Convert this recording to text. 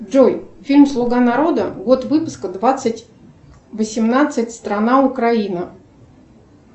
джой фильм слуга народа год выпуска двадцать восемнадцать страна украина